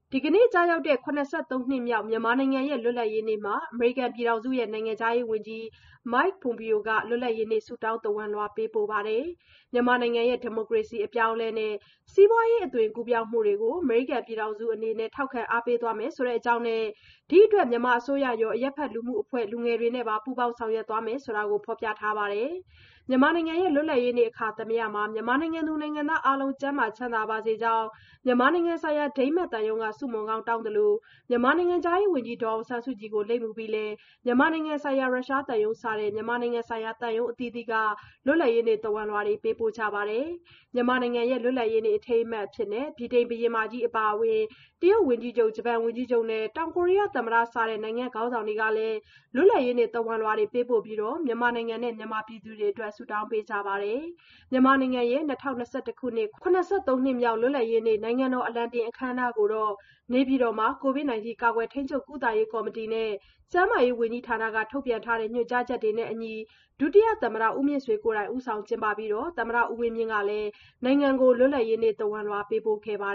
ဒီကနေ့ကျရောက်တဲ့ ၇၃ နှစ်မြောက် မြန်မာနိုင်ငံရဲ့လွတ်လပ်ရေးနေ့မှာ အမေရိကန်ပြည်ထောင်စုရဲ့နိုင်ငံခြားရေးဝန်ကြီး Michael Pompeo က လွတ်လပ်ရေးနေ့ဆုတောင်းသဝဏ်လွှာပေးပို့ခဲ့ပါတယ်။ မြန်မာနိုင်ငံရဲ့ ဒီမိုကရေစီအပြောင်းအလဲနဲ့ စီးပွားရေးအသွင်ကူးပြောင်းမှုတွေကို အမေရိကန်ပြည်ထောင်စုအနေနဲ့ ထောက်ခံအားပေးသွားမယ်ဆိုတဲ့အကြောင်းနဲ့ ဒီအတွက် မြန်မာအစိုးရရော အရပ်ဘက်လူမှုအဖွဲ့တွေ လူငယ်တွေနဲ့ပါ ပူးပေါင်းဆောင်ရွက်မယ်လို့ ဖော်ပြထားပါတယ်။ မြန်မာနိုင်ငံ လွတ်လပ်ရေးနေ့ အခါသမယမှာ မြန်မာနိုင်ငံသူ နိုင်ငံသား အားလုံး ကျန်းမာ ချမ်းသာပါစေကြောင်း မြန်မာနိုင်ငံဆိုင်ရာ ဒိန်းမတ်သံရုံးက ဆုမွန်ကောင်းတောင်းသလို မြန်မာနိုင်ငံခြားရေးဝန်ကြီး ဒေါ်အောင်ဆန်းစုကြည်ကို လိပ်မူပြီး မြန်မာနိုင်ငံဆိုင်ရာ ရုရှားသံရုံးစတဲ့ မြန်မာနိုင်ငံဆိုင်ရာ သံရုံးအသီးသီးကလည်း လွတ်လပ်ရေးနေ့ သဝဏ်လွှာတွေ ပေးပို့ကြပါတယ်။ မြန်မာနိုင်ငံရဲ့လွတ်လပ်ရေးနေ့ အထိမ်းအမှတ်အဖြစ် ဗြိတိန်ဘုရင်မကြီးအပါအဝင် တရုတ်ဝန်ကြီးချုပ်၊ ဂျပန်ဝန်ကြီးချုပ်နဲ့ တောင်ကိုရီးယားသမ္မတ စတဲ့နိုင်ငံ့ခေါင်းဆောင်တွေကလည်း လွတ်လပ်ရေးနေ့ သဝဏ်လွှာတွေပေးပို့ပြီး မြန်မာနိုင်ငံနဲ့မြန်မာပြည်သူတွေအတွက် ဆုတောင်းပေးကြပါတယ်။ မြန်မာနိုင်ငံရဲ့ ၂၀၂၁ ခုနှစ် ၇၃ နှစ်မြောက် လွတ်လပ်ရေးနေ့ နိုင်ငံတော်အလံတင် အခမ်းအနားကိုတော့ နေပြည်တော်မှာ ကိုဗစ်၁၉ ကာကွယ်၊ ထိန်းချုပ်၊ ကုသရေး ကော်မတီနဲ့ ကျန်းမာရေး ဝန်ကြီးဌာနက ထုတ်ပြန်ထားတဲ့ ညွှန်ကြားချက်တွေနဲ့အညီ ဒုသမ္မတဦးမြင့်ဆွေကိုယ်တိုင် ဦးဆောင်ကျင်းပပြီး သမ္မတဦးဝင်းမြင့်ကလည်း နိုင်ငံကို လွတ်လပ်ရေးနေ့သဝဏ်လွှာပေးပို့ခဲ့ပါ